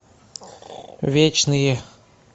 вечные